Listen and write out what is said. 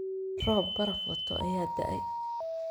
Roob baraf wato aya da'ay.